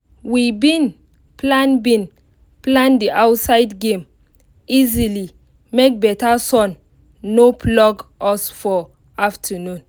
we bin plan bin plan the outside game easily make better sun no flog us for afternoon